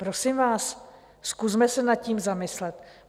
Prosím vás, zkusme se nad tím zamyslet.